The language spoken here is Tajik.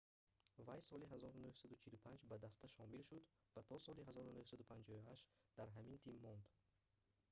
вай соли 1945 ба даста шомил шуд ва то соли 1958 да ҳамин тим монд